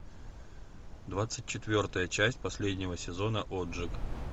двадцать четвертая часть последнего сезона отжиг